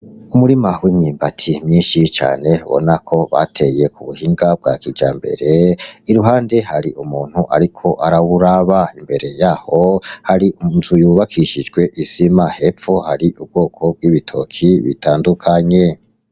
Umurima w’imyumbati myinshi cane ubona ko bateye ku buhinga bwa kijambere , iruhande hari umuntu ariko arawuraba, imbere yaho hari inzu yubakishijwe isima ,hepfo y’aho hari ubwoko bw’ibitoke bitandukanye.